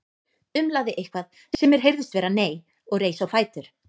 Umlaði eitthvað sem mér heyrðist vera nei og reis á fætur.